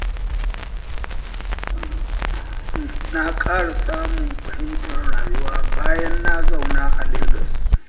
Na ƙara samun fahimtar rayuwa, bayan na zauna a Legas.